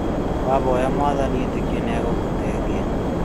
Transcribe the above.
Wahoya mwathani ĩtĩkia nĩgũgũteithia